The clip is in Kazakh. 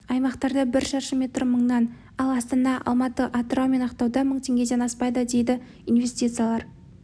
аймақтарда бір шаршы метрі мыңнан ал астана алматы атырау мен ақтауда мың теңгеден аспайды дейді инвестициялар